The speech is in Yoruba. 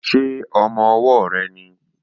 Ṣé ọmọ-ọwọ́ rẹ nìí?